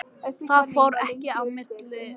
Það fór ekki milli mála hvað var að gerast.